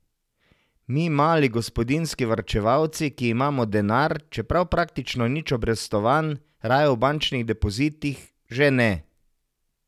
Mi, mali gospodinjski varčevalci, ki imamo denar, čeprav praktično nič obrestovan, raje v bančnih depozitih, že ne.